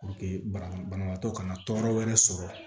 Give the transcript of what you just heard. banabaatɔ kana tɔɔrɔ wɛrɛ sɔrɔ